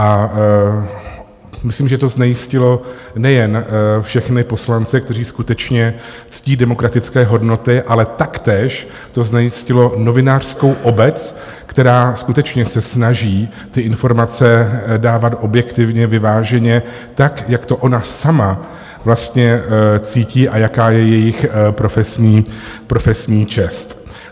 A myslím, že to znejistilo nejen všechny poslance, kteří skutečně ctí demokratické hodnoty, ale taktéž to znejistilo novinářskou obec, která skutečně se snaží ty informace dávat objektivně, vyváženě, tak, jak to ona sama vlastně cítí a jaká je jejich profesní čest.